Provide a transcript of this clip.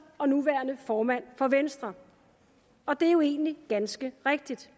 og nuværende formand for venstre og det er jo egentlig ganske rigtigt